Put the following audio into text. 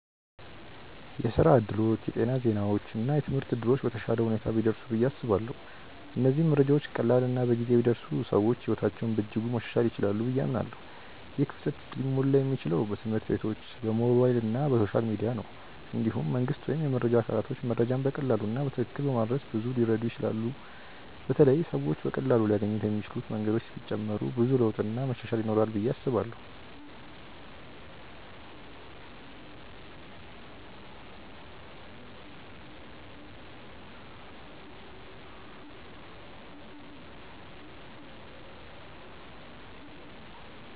የስራ እድሎች፣ የጤና ዜናዎች እና የትምህርት እድሎች በተሻለ ሁኔታ ቢደርሱ ብዬ አስባለሁ። እነዚህ መረጃዎች ቀላል እና በጊዜ ቢደርሱ ሰዎች ሕይወታቸውን በእጅጉ ማሻሻል ይችላሉ ብዬ አምናለሁ። ይህ ክፍተት ሊሞላ የሚችለው በትምህርት ቤቶች፣ በሞባይል እና በሶሻል ሚዲያ ነው። እንዲሁም መንግስት ወይም የመረጃ አካላቶች መረጃን በቀላሉ እና በትክክል በማድረስ ብዙ ሊረዱ ይችላሉ በተለይ ሰዎች በቀላሉ ሊያገኙት የሚችሉ መንገዶች ቢጨመሩ ብዙ ለውጥ እና መሻሻል ይኖራል ብዬ አስባለው።